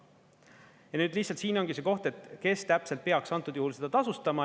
Ja nüüd lihtsalt siin ongi see koht, et kes täpselt peaks antud juhul seda tasustama.